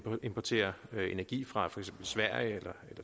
importere energi fra for eksempel sverige eller